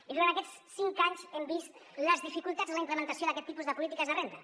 i durant aquests cinc anys hem vist les dificultats en la implementació d’aquest tipus de polítiques de renda